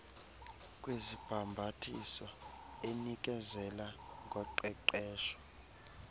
kwezibhambathiso enikezela ngoqeqesho